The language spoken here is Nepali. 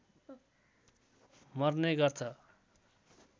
मर्ने गर्छ